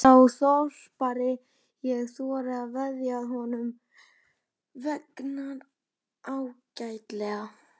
Starði út á pallinn, á ríkidæmi sitt.